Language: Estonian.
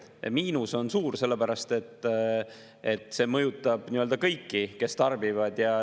Miinus on suur, sellepärast et see mõjutab kõiki, kes tarbivad.